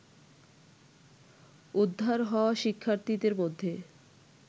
উদ্ধার হওয়া শিক্ষার্থীদের মধ্যে